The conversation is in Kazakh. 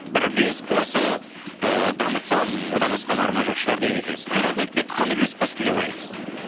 бір үлес қосып ыыы дамытсам одан асқан арман жоқ шығар деген екенсіз төрт жыл өтіп кетті қандай үлес қостым деп ойлайсыз